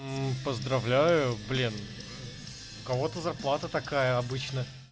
поздравляю блин кого-то зарплата такая обычно